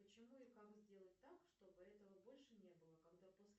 почему и как сделать так чтобы этого больше не было когда после